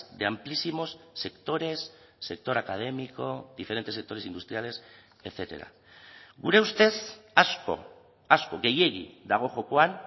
de amplísimos sectores sector académico diferentes sectores industriales etcétera gure ustez asko asko gehiegi dago jokoan